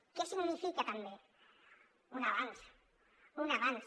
què significa també un avanç un avanç